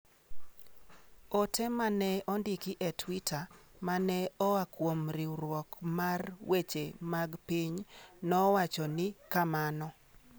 Ote ma ne ondiki e twita ma ne oa kuom riwruok mar weche mag piny nowacho ni kamano.